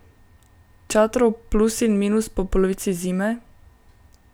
Čatrov plus in minus po polovici zime?